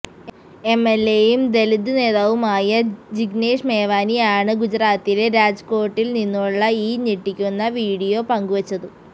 എംഎൽഎയും ദലിത് നേതാവുമായ ജിഗ്നേഷ് മേവാനിയാണ് ഗുജറാത്തിലെ രാജ്കോട്ടിൽ നിന്നുള്ള ഈ ഞെട്ടിക്കുന്ന വിഡിയോ പങ്കുവച്ചത്